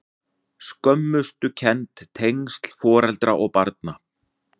Skömmustukennd- tengsl foreldra og barna